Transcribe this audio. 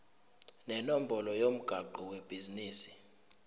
nenombolo yomgwaqo webhizinisi